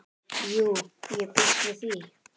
Jú, ég býst við því